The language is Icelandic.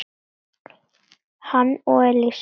hann og Elísa.